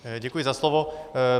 Děkuji za slovo.